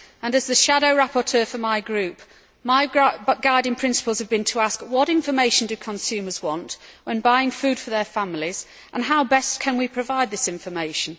As the shadow rapporteur for my group, my guiding principles have been to ask what information do consumers want when buying food for their families, and how best can we provide this information?